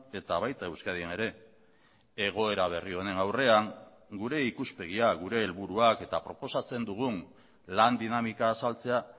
eta baita euskadin ere egoera berri honen aurrean gure ikuspegia gure helburuak eta proposatzen dugun lan dinamika azaltzea